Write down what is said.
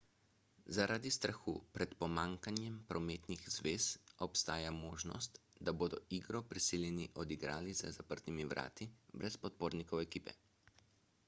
zaradi strahu pred pomanjkanjem prometnih zvez obstaja možnost da bodo igro prisiljeni odigrati za zaprtimi vrati brez podpornikov ekipe